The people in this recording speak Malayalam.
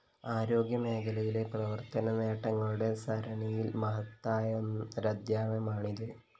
ആരോഗ്യമേഖലയിലെ പ്രവര്‍ത്തനനേട്ടങ്ങളുടെ സരണിയിലെ മഹത്തായൊരധ്യായമാണിത്